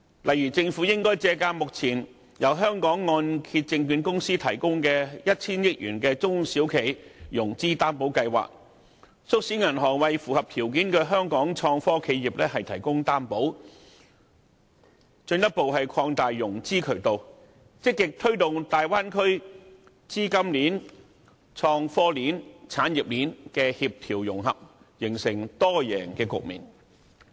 例如，政府可借鑒由香港按揭證券有限公司提供的 1,000 億元中小企融資擔保計劃，促使銀行為符合條件的香港創科企業提供擔保，進一步擴大融資渠道，積極推動大灣區資金鏈、創科鏈和產業鏈協調融合，形成多贏局面。